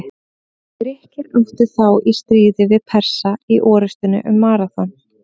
Grikkir áttu þá í stríði við Persa í orrustunni um Maraþon.